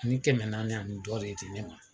Ni kɛmɛ naani ani dɔ de di ne ma.